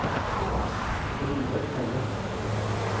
Robert Meyer